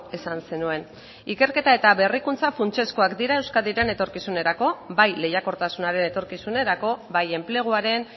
esan zenuen ikerketa eta berrikuntza funtsezkoak dira euskadiren etorkizunerako bai lehiakortasunaren etorkizunerako bai enpleguaren